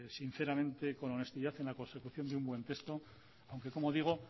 sinceramente con honestidad en la consecución de un buen texto aunque como digo